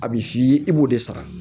A bɛ f'i ye i b'o de sara